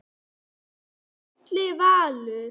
Gísli Valur.